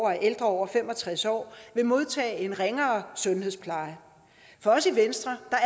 at ældre over fem og tres år vil modtage en ringere sundhedspleje for os i venstre er